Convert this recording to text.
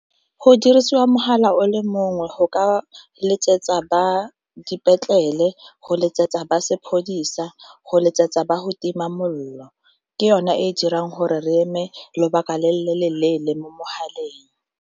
Go dirisiwa mogala o le mongwe go ka letsetsa ba dipetlele, go letsetsa ba sepodisa, go letsetsa ba go tima molelo ke yone e dirang gore re eme lobaka le le leele mo mogaleng.